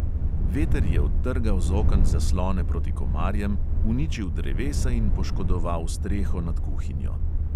Veter je odtrgal z oken zaslone proti komarjem, uničil drevesa in poškodoval streho nad kuhinjo.